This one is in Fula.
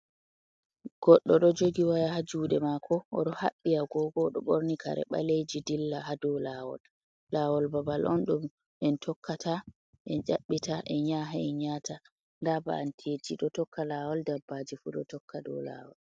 Goddo ɗo jogi waya ha juɗe mako oɗo haɓɓi agogo oɗo ɓorni kare ɓaleji dilla ha dow lawol, lawol babal on ɗum en tokkata en yaɓɓita e nyahe ha enyata nda ba'anteji ɗo tokka lawol dabbaji fu ɗo tokka dow lawol.